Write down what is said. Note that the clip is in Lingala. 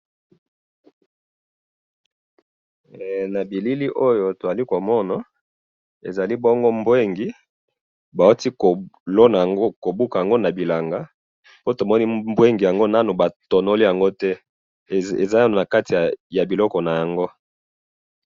Na moni ba madeso na kati ya matiti na yango nano ba tonoli yango te.